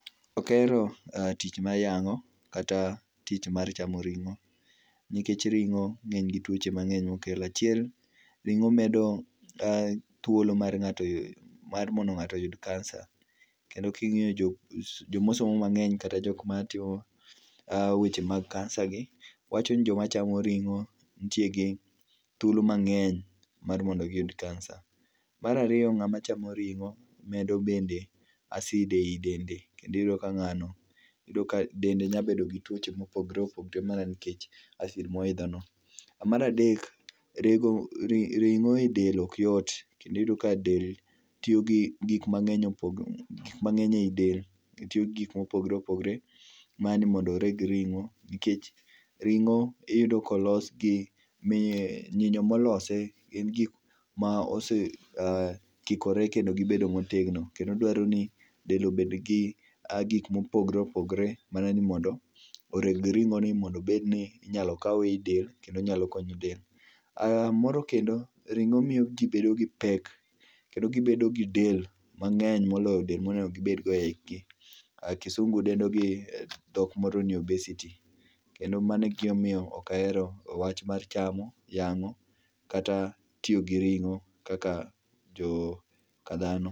Okahero tich mar yang'o kata tich mar chamo ring'o nikech ring'o ng'eny gi tuoche mangeny mokelo. Achiel ringo medo thuolo mar ngato yudo kansa, kendo kingiyo joma osomo mang'eny kata joma timo weche mag kansagi wachoni joma chamo ringo nitie gi thuolo mang'eny mar mondo giyud kansa. Mar ariyo ng'ama chamo ring'o medo bende acid e dende kendo iyudo ka ng'ano iyudo ka dende nya bedo gi tuoche mopogore opogore nikech acid moidho no.Mar adek, rego ring'o e del ok yot kendo iyudo ka del tiyo gi gik mangeny, gik mang'eny e del tiyo gi gik mopogore opogore mar mondo oreg ringo nikech ring'o iyudo kolos gi, nyinyo molose en gik ma ose ,aah ,kikore kendo gibedo motegno kendo dwaro ni del obed gi gik mopogore opogore mana ni mondo oreg ringo ni mondo obed ni inyalo kawe e del kendo nyalo nyalo konyo del. Moro kendo, ringo jii bedo gipek, kendo gibedo gi del mangeny moloyo del monego gibed go ei gi, kisungu dendo gi dhok moro ni obesity kendo mano e gima omiyo ooka ahero wach mar chamo, yango kata tiyo gi ringo kaka joka dhano